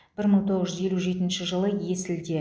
бір мың тоғыз жүз елу жетінші жылы есілде